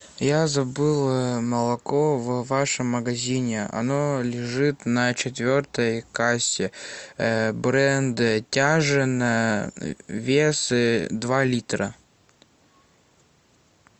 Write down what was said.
я забыл молоко в вашем магазине оно лежит на четвертой кассе бренда тяжино вес два литра